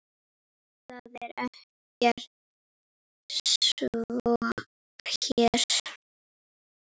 Það er ekki svo hér.